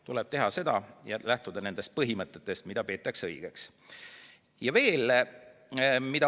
Tuleb teha seda ja lähtuda nendest põhimõtetest, mida peetakse õigeks.